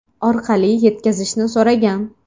orqali yetkazishni so‘ragan.